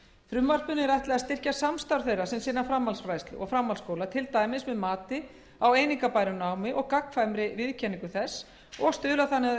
frumvarpinu er ætlað að styrkja samstarf þeirra sem sinna framhaldsfræðslu og framhaldsskóla til dæmis með mati á einingabæru námi og gagnkvæmri viðurkenningu þess og stuðla þannig að